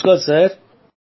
নমস্কার স্যার